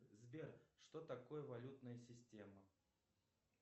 сбер что такое валютная система